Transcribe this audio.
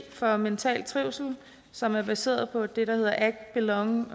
for mental trivsel som er baseret på det der hedder act belong